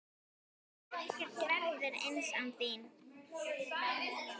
Ekkert verður eins án þín.